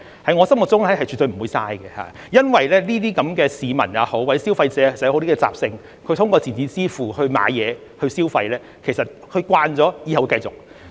在我心目中是絕對不會浪費的，因為市民或消費者的習性就是，他們通過電子支付購物和消費，習慣了之後也是會繼續這樣做的。